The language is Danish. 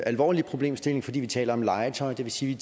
alvorlig problemstilling fordi vi taler om legetøj det vil sige